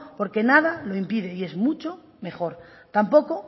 porque nada lo impide y es mucho mejor tampoco